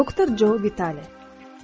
Doktor Jo Vitale.